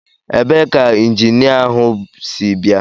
Ebee ka injinia ahụ si bịa?